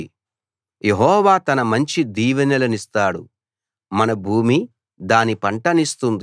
యెహోవా తన మంచి దీవెనలనిస్తాడు మన భూమి దాని పంటనిస్తుంది